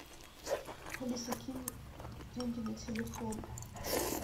алиса кинь деньги на телефон